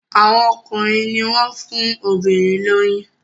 Àwọn ọkùnrin ní wón fún obìrin lóyún.